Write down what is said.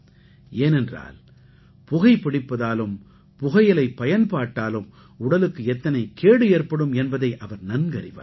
ஏனென்றால் புகை பிடிப்பதாலும் புகையிலைப் பயன்பாட்டாலும் உடலுக்கு எத்தனை கேடு ஏற்படும் என்பதை அவர் நன்கறிவார்